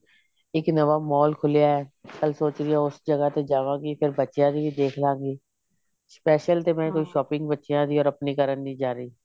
ਇੱਕ ਨਵਾਂ mall ਖੁਲਿਆ ਕੱਲ ਸੋਚ ਰਹੀ ਹਾਂ ਉਸ ਜਗ੍ਹਾ ਤੇ ਜਾਵਾਂਗੀ ਪਰ ਬੱਚਿਆ ਦੀ ਵੀ ਦੇਖ ਲਵਾਂਗੀ special ਤਾਂ ਮੈਂ ਕੋਈ shopping ਬੱਚਿਆ ਦੀ or ਆਪਣੀ ਕਰਨ ਨਹੀਂ ਜਾ ਰਹੀ